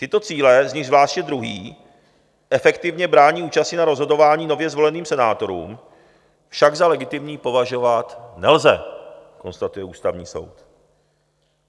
Tyto cíle, z nichž zvláště druhý efektivně brání účasti na rozhodování nově zvoleným senátorům, však za legitimní považovat nelze, konstatuje Ústavní soud.